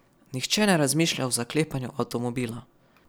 Nihče ne razmišlja o zaklepanju avtomobila.